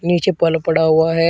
नीचे फल पड़ा हुआ है।